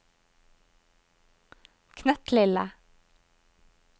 knøttlille